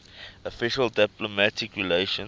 official diplomatic relations